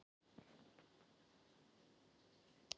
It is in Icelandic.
Sósíalistaflokkurinn beið afhroð